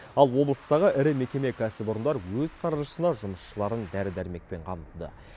ал облыстағы ірі мекеме кәсіпорындар өз қаржысына жұмысшыларын дәрі дәрмекпен қамтыды